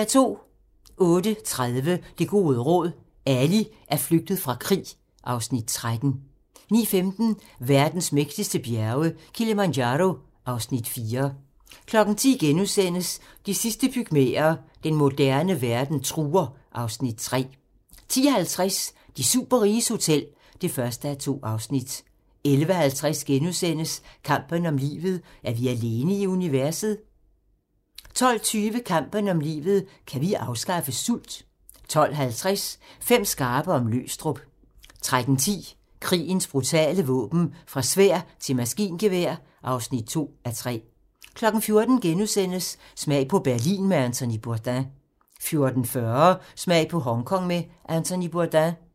08:30: Det gode råd: Ali er flygtet fra krig (Afs. 13) 09:15: Verdens mægtigste bjerge: Kilimanjaro (Afs. 4) 10:00: De sidste pygmæer: Den moderne verden truer (Afs. 3)* 10:50: De superriges hotel (1:2) 11:50: Kampen om livet - er vi alene i universet? * 12:20: Kampen om livet - kan vi afskaffe sult? 12:50: Fem skarpe om Løgstrup 13:10: Krigens brutale våben - fra sværd til maskingevær (2:3) 14:00: Smag på Berlin med Anthony Bourdain * 14:40: Smag på Hongkong med Anthony Bourdain